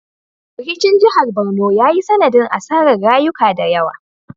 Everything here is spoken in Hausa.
Rikicin jihar Barno ya yi sanadin asarar rayuka da yawa